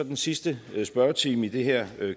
den sidste spørgetime i det her